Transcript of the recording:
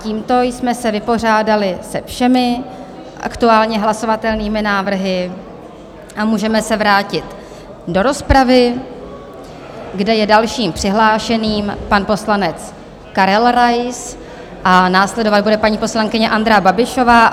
Tímto jsme se vypořádali se všemi aktuálně hlasovatelnými návrhy a můžeme se vrátit do rozpravy, kde je dalším přihlášeným pan poslanec Karel Rais a následovat bude paní poslankyně Andrea Babišová.